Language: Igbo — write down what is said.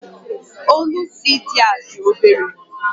Ólú CD a dị obere